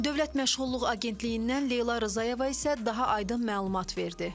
Dövlət Məşğulluq Agentliyindən Leyla Rzayeva isə daha aydın məlumat verdi.